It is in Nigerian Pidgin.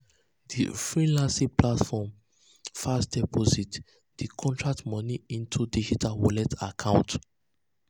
di freelancing platform fast-fast deposit um di contract moni into her digital wallet um account.